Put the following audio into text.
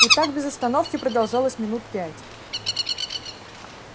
и так без остановки продолжалось минут пять